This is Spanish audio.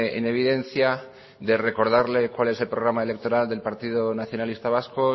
en evidencia de recordarle cuál es el programa electoral del partido nacionalista vasco